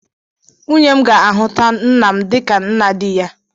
Nwunye m ga-ahụta nna m dịka nna di ya